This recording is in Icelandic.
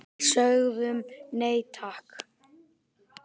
Við sögðum nei, takk!